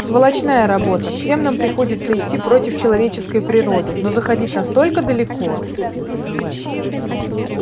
сволочная работа всем нам приходится идти против человеческой природы но заходить настолько далеко